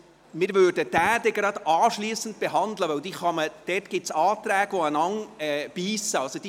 Wir würden diesen gleich anschliessend behandeln, denn dazu gibt es Anträge, die einander widersprechen.